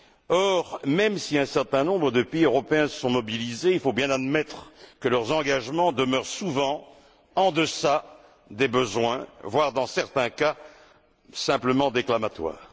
Or, même si un certain nombre de pays européens se sont mobilisés, il faut bien admettre que leurs engagements demeurent, souvent, en deçà des besoins, voire, dans certains cas, simplement déclamatoires.